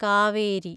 Kaveri